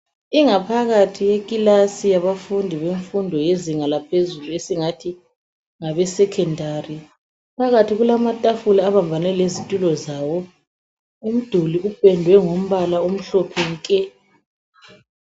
Ingaphakathi yekilasi yabafundi yemfundo yezinga laphezulu esingathi ngabesecondary. Phakathi kulamatafula abambane lezitulo zawo. Umduli upendwe ngombala omhlophe nke.